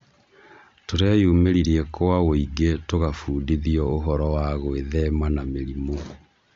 Tũreyumĩririe kwa wũingĩ tũgabundithio ũhoro wa gwĩthema na mĩrimũ.